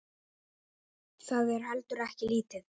Það er heldur ekki lítið.